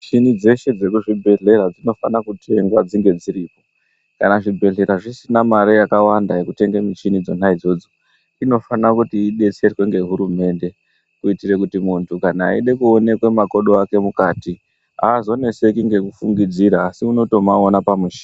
Michini dzeshe dzekuzvibhehlera dzinofana kunge ngadzinge dziriyo kana zvibhehlera zvisina mare yakavanda yekutenge michina yona iyoyo inofana kuti idetserwe ngehurumende kuitira kuti kana muntu ride kuona makodo akwe haazozvinetsi ngekufungidzira asi kuti unofanire kumaona pamuchina.